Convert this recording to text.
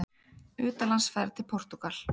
UTANLANDSFERÐ TIL PORTÚGAL